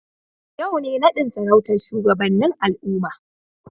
Yau ne nadin sarautar shugabannin al'umma.